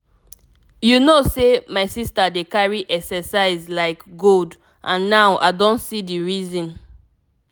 you know sey my sister dey carry exercise like gold and now i don see the reason.